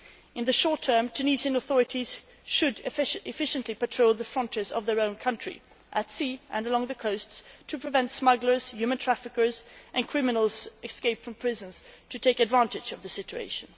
In the short term, the Tunisian authorities should efficiently patrol the frontiers of their own country, at sea and along the coasts, to prevent smugglers, human traffickers and criminals who have escaped from prison from taking advantage of the situation.